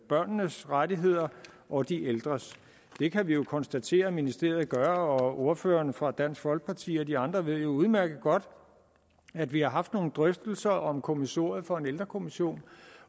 børnenes rettigheder og de ældres det kan vi jo konstatere at ministeriet gør og ordføreren for dansk folkeparti og de andre ordførere ved jo udmærket godt at vi har haft nogle drøftelser om kommissoriet for en ældrekommission